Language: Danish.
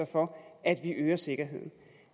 for at vi øger sikkerheden